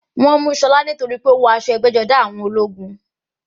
Wọ́n mú Ṣọlá torípé ó wọ aṣọ ẹgbẹ́-jọdá àwọn ológun.